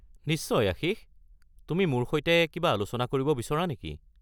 নিশ্চয় আশিষ, তুমি মোৰ সৈতে কিবা আলোচনা কৰিব বিচৰা নেকি?